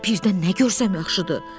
Birdən nə görsən yaxşıdır?